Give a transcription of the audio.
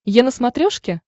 е на смотрешке